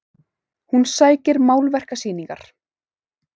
Hún sækir málverkasýningar